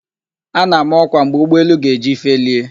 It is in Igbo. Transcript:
A na-ama ọkwa mgbe ụgbọelu ga-eji felie